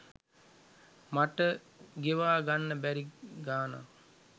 මට ගෙවා ගන්න බැරි ගාණක්.